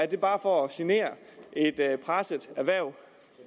det bare for at genere et presset erhverv